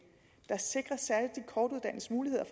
jeg sikres særligt de kortuddannedes muligheder